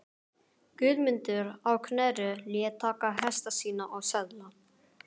Guðmundur á Knerri lét taka hesta sína og söðla.